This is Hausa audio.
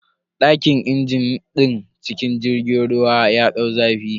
Dakin injin din cikin jirgin ruwan ya dau zafi.